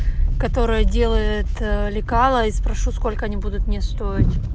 которая делает лекало и спрошу сколько они будут мне стоить